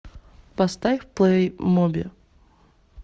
поставь плей моби